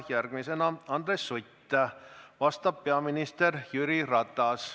Järgmisena küsib Andres Sutt ja vastab peaminister Jüri Ratas.